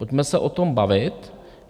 Pojďme se o tom bavit.